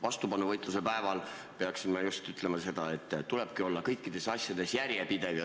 Vastupanuvõitluse päeval peaksime ütlema seda, et tulebki olla kõikides asjades järjepidev.